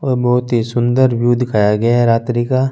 और बहोत ही सुन्दर व्यू दिखाया गया है रात्रि का --